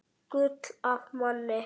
Gull af manni.